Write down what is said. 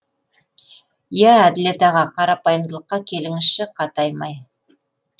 иә әділет аға қарапайымдылыққа келіңізші қатаймай